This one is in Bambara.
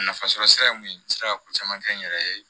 Nafasɔrɔ sira ye mun ye n sera ka ko caman kɛ n yɛrɛ ye